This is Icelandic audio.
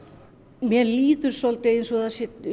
mér líður svolítið eins og það